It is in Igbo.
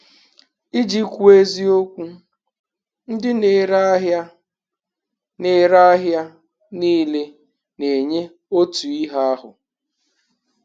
Iji kwuo eziokwu, ndị na-ere ahịa na-ere ahịa niile na-enye otu ihe ahụ.